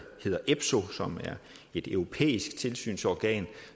hedder epso som er et europæisk tilsynsorgan